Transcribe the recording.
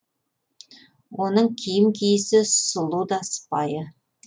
оның киім киісі сұлу да сыпайы